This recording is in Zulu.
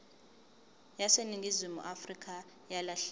yaseningizimu afrika yalahleka